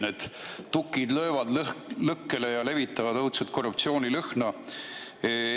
Need tukid löövad lõkkele ja levitavad õudsat korruptsioonilõhna.